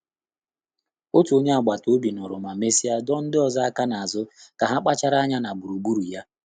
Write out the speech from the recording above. Ọ́tù ọ́nyé àgbàtà òbí nụ́rụ̀ mà mèsị́à dọ́ọ́ ndị́ ọ́zọ́ áká n’ázụ́ kà há kpàchàrà ányá nà gbùrùgbúrù yá.